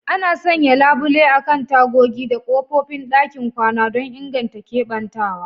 Ana sanya labule akan tagogi da kofofin ɗakin kwana don inganta keɓantawa.